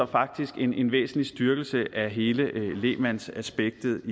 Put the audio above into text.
faktisk en væsentlig styrkelse af hele lægmandsaspektet